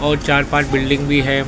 और चार पांच बिल्डिंग भी हैं।